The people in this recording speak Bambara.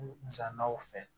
Musakaw fɛ